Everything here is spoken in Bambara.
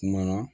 Kuma na